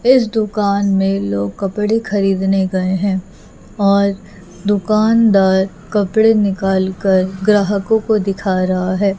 इस दुकान में लोग कपड़े खरीदने गए हैं और दुकानदार कपड़े निकाल कर ग्राहकों को दिखा रहा है।